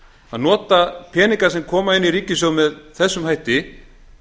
að nota peninga sem koma inn í ríkissjóð með þessum hætti